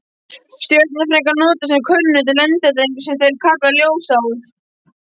Stjörnufræðingar nota sem kunnugt er lengdareiningu, sem þeir kalla ljósár.